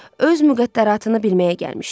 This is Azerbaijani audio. Öz müqəddəratını bilməyə gəlmişdi.